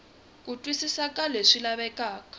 ku twisisa ka leswi lavekaka